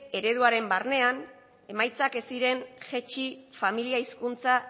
ereduaren barnean emaitzak ez ziren jaitsi familia hizkuntza